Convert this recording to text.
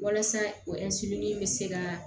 Walasa o in bɛ se ka